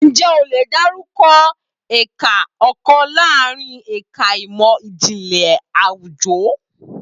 Ǹjẹ́ o lè dárúkọ ẹ̀ka kan láàárín ẹ̀ka ìmọ̀ Ìjìnlẹ̀ Àwùjọ?